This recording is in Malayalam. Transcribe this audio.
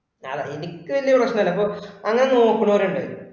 ഞാൻ അതല്ല എനിക്ക് വലിയ പ്രശ്‍നം ഇല്ല ഇപ്പൊ അങ്ങനെ നോക്കാണോരുണ്ട്.